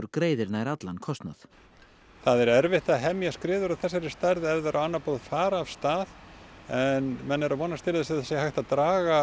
greiðir nær allan kostnað það er erfitt að hemja skriður af þessari stærð ef þær á annað borð fara af stað en menn eru að vonast til þess að það sé hægt að draga